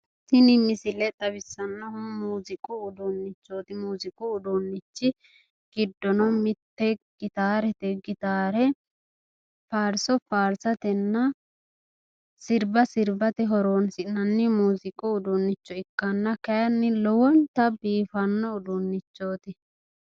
Tini misile leellishshannohu muuziiqu uduunnichooti. Muuziiqu uduunnichi giddo mitte gitaarete. Gitaare faarso faarsatenna sirba sirbate horoonsi'nanni muuziiqu uduunnicho ikkanna kayinni lowonta biifanno uduunnichooti.